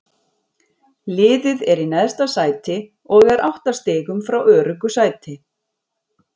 Liðið er í neðsta sæti og er átta stigum frá öruggu sæti.